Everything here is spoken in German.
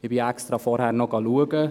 Ich habe extra vorher noch abgeklärt: